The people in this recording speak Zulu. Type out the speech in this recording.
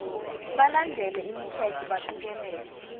balandele imthetho baqikelele